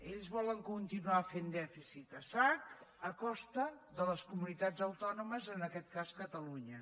ells volen continuar fent dèficit a sac a costa de les comunitats autònomes en aquest cas catalunya